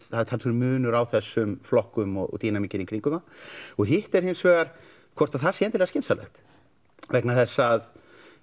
það er talsverður munur á þessum flokkum og dínamíkinni í kringum þá hitt er hins vegar hvort það sé endilega skynsamlegt vegna þess að